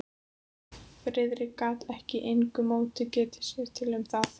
Friðrik gat með engu móti getið sér til um það.